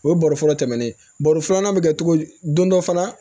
O ye baro fɔlɔ tɛmɛnen baro filanan bɛ kɛ cogo di don dɔ fana